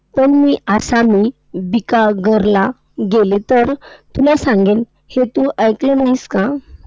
पण मी आसामी बिकाघरला गेले, तर तुला सांगेन, हे तू ऐकलं नाहीस का?